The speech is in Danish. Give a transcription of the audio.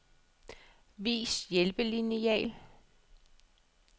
Vis hjælpelineal.